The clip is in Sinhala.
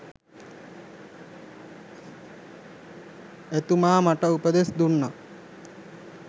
එතුමා මට උපදෙස් දුන්නා